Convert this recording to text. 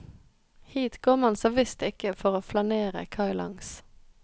Hit går man såvisst ikke for å flanere kailangs.